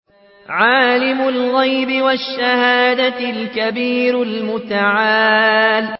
عَالِمُ الْغَيْبِ وَالشَّهَادَةِ الْكَبِيرُ الْمُتَعَالِ